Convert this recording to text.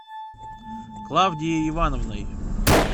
клавдией ивановной